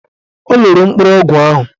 O loro mkpụrụ ọgwụ ahụ.